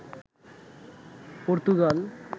Portugal